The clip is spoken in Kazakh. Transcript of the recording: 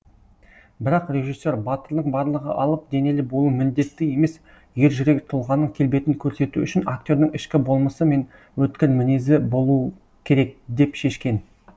бірақ режиссер батырдың барлығы алып денелі болуы міндетті емес ержүрек тұлғаның келбетін көрсету үшін актердің ішкі болмысы мен өткір мінезі болу керек деп шешкен